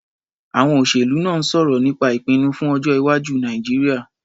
Àwọn olóṣèlú náà ń sọ̀rọ̀ nípa ìpinnu fún ọjọ́-iwájú Nàìjíríà.